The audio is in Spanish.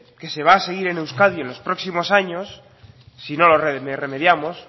que se va seguir en euskadi en los próximos años si no lo remediamos